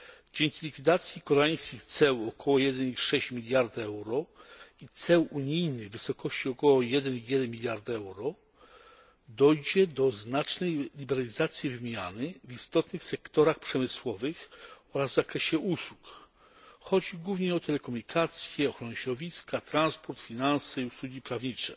Dzięki likwidacji koreańskich ceł około 1,6 miliarda euro i ceł unijnych, w wysokości około 1,1 miliarda euro, dojdzie do znacznej liberalizacji wymiany w istotnych sektorach przemysłowych oraz w zakresie usług. Chodzi głównie o telekomunikację, ochronę środowiska, transport, finanse i usługi prawnicze.